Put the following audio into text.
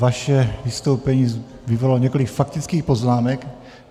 Vaše vystoupení vyvolalo několik faktických poznámek.